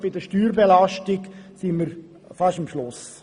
In diesem Bereich liegen wir fast am Ende der Skala.